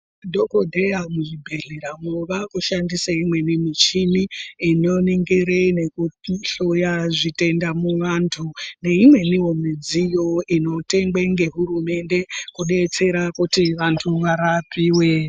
Madhokodheya muzvibhedlera mwo vakushandisa imweni muchini inoningira nekuhloya zvitenda muvantu neimweni midziyo inotengwe nehurumende kudetsera kuti vantu varapiwe .